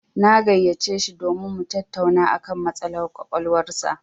Na gayyaci shi domin mu tattauna a kan matsalar ƙwaƙwalwar sa.